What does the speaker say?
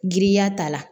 Giriya ta la